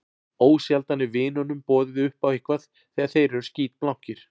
Ósjaldan er vinunum boðið upp á eitthvað þegar þeir eru skítblankir.